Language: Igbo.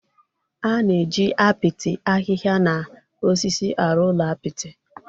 A na-eji apịtị, ahịhịa na osisi arụ ụlọ apịtị.